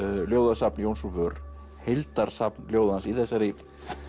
ljóðasafn Jóns úr vör heildarsafn ljóða hans í þessari